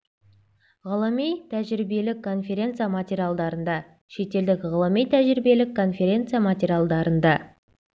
ғылыми-тәжірибелік конференция материалдарында шетелдік ғылыми-тәжірибелік конференция материалдарында